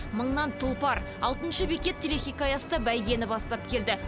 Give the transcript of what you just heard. мыңнан тұлпар алтыншы бекет телехикаясы да бәйгені бастап келді